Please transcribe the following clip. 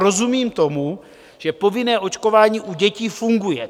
Rozumím tomu, že povinné očkování u dětí funguje.